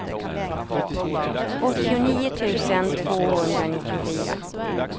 åttionio tusen tvåhundranittiofyra